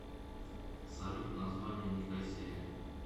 салют название никосия